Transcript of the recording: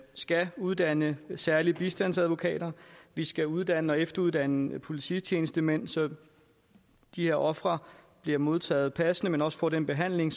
skal uddanne særlige bistandsadvokater vi skal uddanne og efteruddanne polititjenestemænd så de her ofre bliver modtaget passende og får den behandling